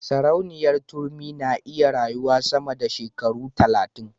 Sarauniya turmi na iya rayuwa sama da shekaru talatin